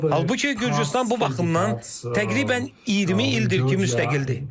Halbuki Gürcüstan bu baxımdan təqribən 20 ildir ki, müstəqildir.